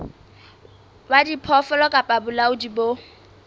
wa diphoofolo kapa bolaodi bo